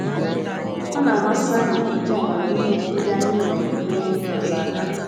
Ọ na - amasị anyị iji amamihe ndị anyị nwere nyere ndị ọzọ aka. ”